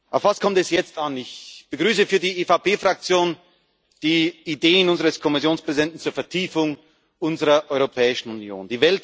Auf was kommt es jetzt an? Ich begrüße für die EVP Fraktion die Ideen unseres Kommissionspräsidenten zur Vertiefung unserer Europäischen Union.